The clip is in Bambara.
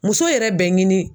Muso yɛrɛ bɛ ɲini